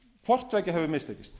hvort tveggja hefur mistekist